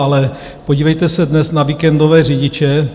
Ale podívejte se dnes na víkendové řidiče.